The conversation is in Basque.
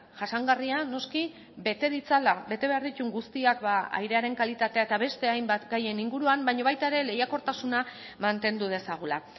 jasangarria noski bete ditzala bete behar dituen guztiak airearen kalitatea eta beste hainbat gaien inguruan baina baita ere lehiakortasuna mantendu dezagula